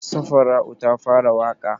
Safara'u ta fara waƙa?